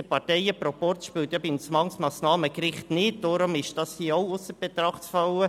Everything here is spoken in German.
Der Parteienproporz spielt beim Zwangsmassnahmengericht nicht, darum ist das hier auch ausser Betracht zu lassen.